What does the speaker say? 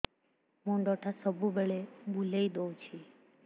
ମୁଣ୍ଡଟା ସବୁବେଳେ ବୁଲେଇ ଦଉଛି